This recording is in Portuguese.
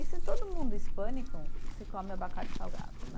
Isso em todo mundo hispânico, se come abacate salgado, né?